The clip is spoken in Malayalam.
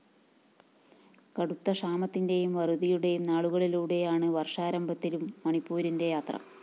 കടുത്ത ക്ഷാമത്തിന്റെയും വറുതിയുടെയും നാളുകളിലൂടെയാണ് വര്‍ഷാരംഭത്തിലും മണിപ്പൂരിന്റെ യാത്ര